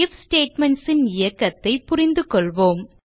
if statements ன் இயக்கத்தை புரிந்துகொள்வோம்